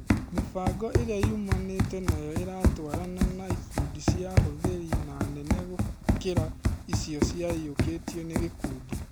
Mĩbango ĩrĩa yumanĩte nayo ĩratũarana na ikundi cia ahũthĩri na nene gũkĩra icio ciaiyukĩtio nĩ gĩkundi.